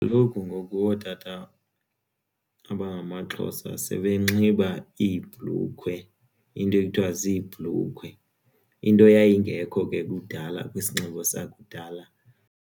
Kaloku ngoku ootata abangamaXhosa sebenxiba iibhlukhwe iinto ekuthiwa ziibhlukhwe into yayingekho ke kudala kwisinxibo sakudala.